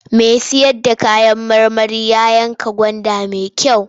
Mai sayar da kayan marmari ya yanka gwanda mai kyau.